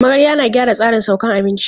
Magarya na gyara tsarin saukan abinci.